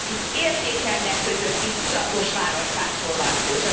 Itt értékrendek közötti tudatos választásról van szó.